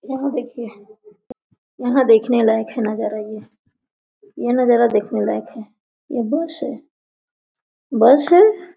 यहाँ देखिये यहाँ देखने लायक है नजारा ये ये नजारा देखने लायक है ये बस है बस है|